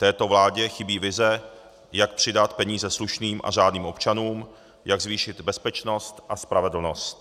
Této vládě chybí vize, jak přidat peníze slušným a řádným občanům, jak zvýšit bezpečnost a spravedlnost.